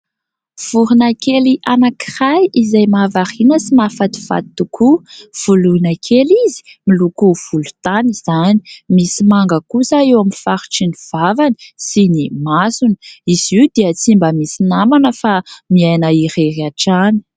Vorona kely anankiray izay mahavariana sy mahafatifaty tokoa : voloina kely izy miloko volontany izany, misy manga kosa eo amin'ny faritry ny vavany sy ny masony, izy io dia tsy mba misy namana fa miaina irery hatrany.